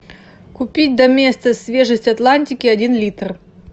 купить доместос свежесть атлантики один литр